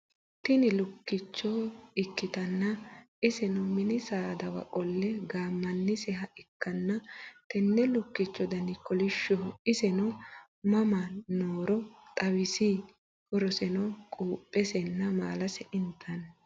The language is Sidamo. Tini lukkicho ikkitanna iseno minni saadawa qolle gaammaniseha ikkana tenne lukkichcho Dani kolishshoho iseno mama nohooro xawisi? Horoseno quuphesenna maalase inttanni